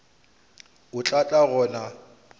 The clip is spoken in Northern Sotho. o tla tla go nna